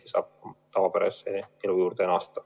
Pärast seda saab tavapärase elu juurde naasta.